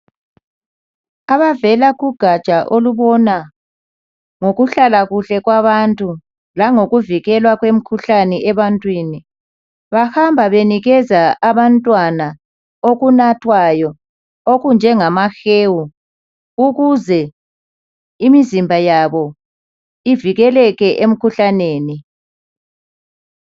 Ababona ngokuhlala kuhle kwabantu lokuvikela kwemkhuhlane ebantwini bahamba benikeza abantwana okunathwayo okunjengama hewu ukuze imzimba yabo ivikeleke emkhuhlaneni